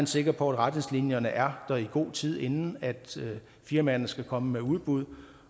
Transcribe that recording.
sikker på at retningslinjerne er der i god tid inden firmaerne skal komme med udbud